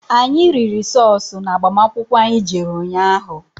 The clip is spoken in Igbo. Anyị riri sọọsụ na agbamakwụkwọ anyị jere ụnyaahụ.